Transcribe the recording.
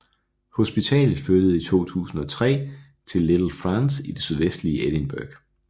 Hospitalet flyttede i 2003 til Little France i det sydvestlige Edinburgh